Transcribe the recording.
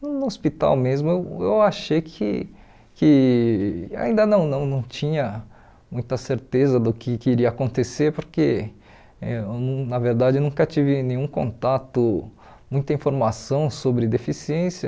No hospital mesmo eu eu achei que que... ainda não não não tinha muita certeza do que que iria acontecer, porque eu na verdade eu nunca tive nenhum contato, muita informação sobre deficiência.